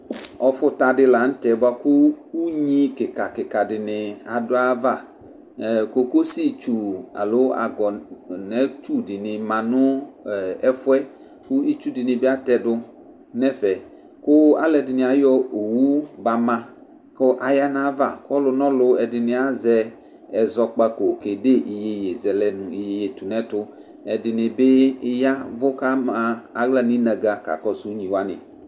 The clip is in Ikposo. ɔfũta dilaṅtɛ bũakũ ũɲi kikakika dini aduava ẽ kokossi tsũ alo agɔ'nẽ tsu dini manu ɛfuɛ kitsu dini biatɛdu nɛfẽ kũ alũɛ dïnĩbi ayɔ owũ bama kũ aya nava kɔlunɔlu ɛdini azɛ ɛzɔkpako kédé ïyeye zɛlɛ nũ iyeye tunɛtu ɛdinibi yavu kama a ylaninagha kaƙɔsũ ịoviu wani